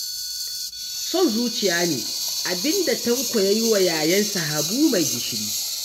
Son zuciya ne abin da Tanko ya yi wa yayansa Habu mai gishiri